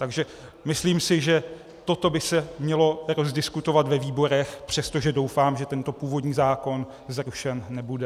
Takže myslím si, že toto by se mělo rozdiskutovat ve výborech, přestože doufám, že tento původní zákon zrušen nebude.